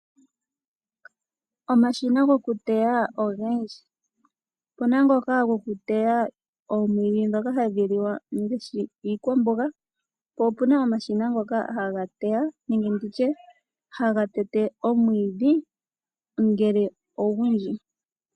Omashina goku teya ogendji. Opu na ngoka goku teya omweenge ndhoka hadhi liwa ngaashi iikwamboga, po opu na omashina ngoka haga teya, nenge ndi tye haga tete omwiidhi ngele ogundji.